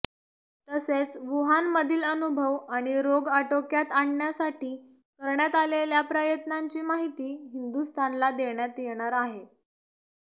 तसेच वूहानमधील अनुभव आणि रोग आटोक्यात आणण्यासाठी करण्यात आलेल्या प्रयत्नांची माहिती हिंदुस्थानला देण्यात येणार आहे